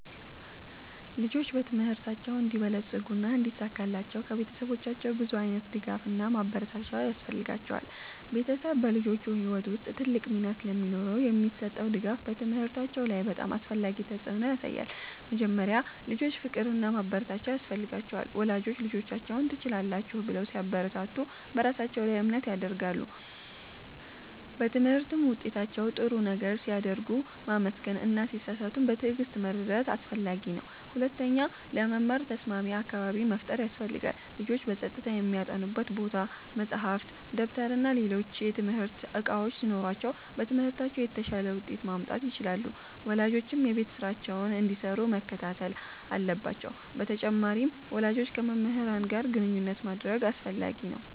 ልጆች በትምህርታቸው እንዲበለጽጉና እንዲሳካላቸው ከቤተሰቦቻቸው ብዙ ዓይነት ድጋፍና ማበረታቻ ያስፈልጋቸዋል። ቤተሰብ በልጆች ሕይወት ውስጥ ትልቅ ሚና ስለሚኖረው የሚሰጠው ድጋፍ በትምህርታቸው ላይ በጣም አስፈላጊ ተፅዕኖ ያሳያል። መጀመሪያ፣ ልጆች ፍቅርና ማበረታቻ ያስፈልጋቸዋል። ወላጆች ልጆቻቸውን “ትችላላችሁ” ብለው ሲያበረታቱ በራሳቸው ላይ እምነት ያድጋሉ። በትምህርት ውጤታቸው ጥሩ ነገር ሲያደርጉ ማመስገን እና ሲሳሳቱም በትዕግሥት መርዳት አስፈላጊ ነው። ሁለተኛ፣ ለመማር ተስማሚ አካባቢ መፍጠር ያስፈልጋል። ልጆች በጸጥታ የሚያጠኑበት ቦታ፣ መጻሕፍት፣ ደብተርና ሌሎች የትምህርት እቃዎች ሲኖሯቸው በትምህርታቸው የተሻለ ውጤት ማምጣት ይችላሉ። ወላጆችም የቤት ስራቸውን እንዲሰሩ መከታተል አለባቸው በተጨማሪም፣ ወላጆች ከመምህራን ጋር ግንኙነት ማድረግ አስፈላጊ ነው።